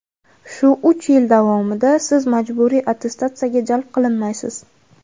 Shu uch yil davomida Siz majburiy attestatsiyaga jalb qilinmaysiz.